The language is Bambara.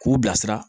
K'u bilasira